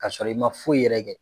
Ka sɔrɔ i ma foyi yɛrɛ kɛ.